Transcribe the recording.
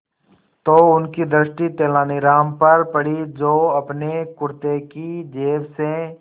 तो उनकी दृष्टि तेनालीराम पर पड़ी जो अपने कुर्ते की जेब से